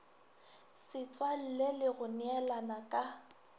ditswalle le go neelana ka